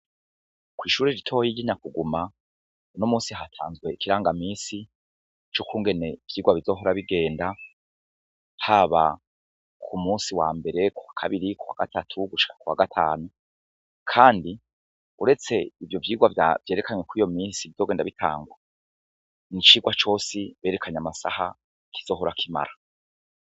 Ukw'ishuri ritoyigina kuguma no musi hatanzwe ikiranga misi c'ukungene ivyirwa bizohora bigenda taba ku musi wa mbere ku wa kabiri kuwa gatatu gushaa ku wa gatanu, kandi uretse ivyo vyirwa vavyerekanywe ko iyo misi bizogenda bitangwa ni icirwae cosi berekanye amasaha kizohorakoimara.